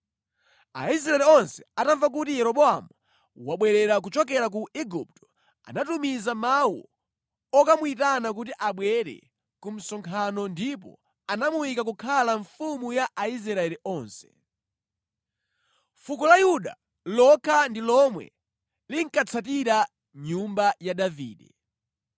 Aisraeli onse atamva kuti Yeroboamu wabwerera kuchokera ku Igupto, anatumiza mawu okamuyitana kuti abwere ku msonkhano ndipo anamuyika kukhala mfumu ya Aisraeli onse. Fuko la Yuda lokha ndi lomwe linkatsatira nyumba ya Davide.